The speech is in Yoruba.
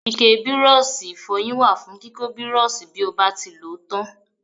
Ike Bírọ́ọ̀ṣì ìfọyín wà fún kíkọ́ Bírọ́ọ̀ṣì bí ó bá ti lòó tán.